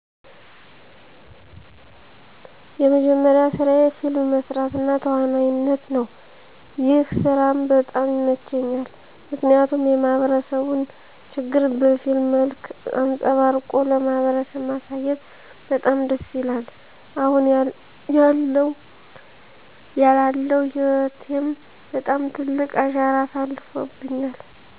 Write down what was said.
የመጀመሪያ ስራየ ፊልም መስራት እና ተዋናይነት ነው። ይህ ስራም በጣም ይመቸኛል። ምክንያቱም የማህበረሰቡን ችግር በፊልም መልክ አንጸባርቆ ለማህበረሰብ ማሳየት በጣም ደስ ይላል። አሁን ያላለው ህይወቴም ባጣም ትልቅ አሻራ አሳርፎብኛል።